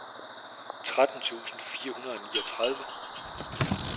tretten tusind fire hundrede og niogtredive